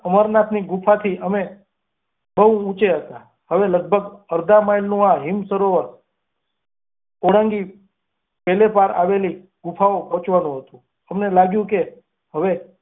અમરનાથની ગુફાથી અમે બહુ ઊંચે હતા. હવે લગભગ અધા માઈલનું આ હિનસરોવર ઓળંગી પેલે પાર આવેલા ગુફાએ પહોંચવાનું હતું. અમને લાગ્યુ કે હવે.